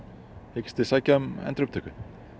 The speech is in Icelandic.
hyggist þið sækja um endurupptöku